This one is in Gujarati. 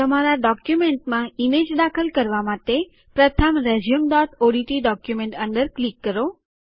તમારા ડોક્યુમેન્ટમાં ઈમેજ દાખલ કરવા માટે પ્રથમ રેઝ્યુમઓડીટી ડોક્યુમેન્ટ અંદર ક્લિક કરો